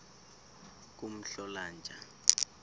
kumhlolanja